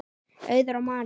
Auður og Marinó.